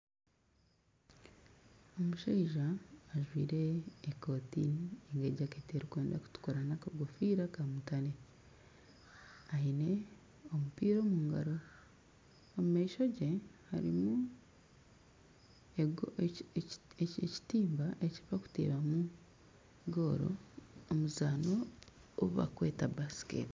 Omushaija ajwire ekoti n'ejaket erikwenda kutukura na akakofiira ka mutare. Aine omupiira omungaro, omumaisho ge harimu ekitimba ekibarikutebamu goola omuzano ogu barikweta basiketi.